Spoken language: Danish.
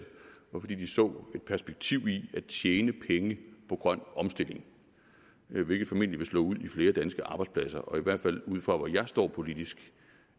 og fordi de så et perspektiv i at tjene penge på grøn omstilling hvilket formentlig vil slå ud i flere danske arbejdspladser og i hvert fald ud fra hvor jeg står politisk